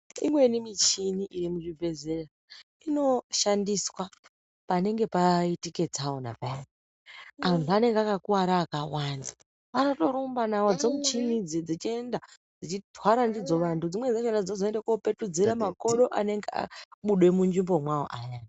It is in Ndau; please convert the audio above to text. Imweni michini yemuzvibhehlere inoshandiswa panenge paitike tsaona payani. Anhu anenge akakuwara vakawanda. vanotorumba nadzo michini idzi, dzichienda dzotwara ndidzo antu dzimweni dzachona dzinozoenda kopetudzira makodo anenge abuda munzvimbo ayani.